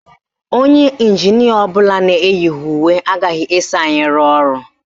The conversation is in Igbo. Onye ịnjinịa ọbụla na-eyighi uwe agaghị eso anyị rụọ ọrụ